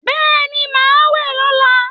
Bẹ́ẹ̀ni, màá wẹ̀ lọ́la